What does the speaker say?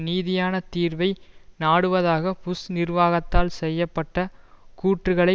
நீதியான தீர்வை நாடுவதாக புஷ் நிர்வாகத்தால் செய்ய பட்ட கூற்றுக்களை